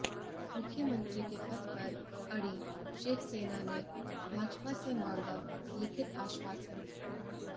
मुख्यमंत्री के पद पर अड़ी शिवसेना ने भाजपा से मांगा लिखित आश्वासन